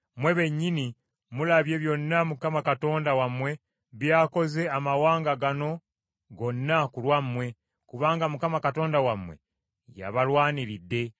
mmwe bennyini mulabye byonna Mukama Katonda wammwe byakoze amawanga gano gonna ku lwammwe, kubanga Mukama Katonda wammwe yabalwaniridde.